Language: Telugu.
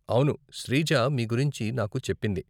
అవును, శ్రీజ మీ గురించి నాకు చెప్పింది.